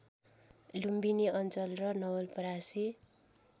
लुम्बिनी अञ्चल र नवलपरासी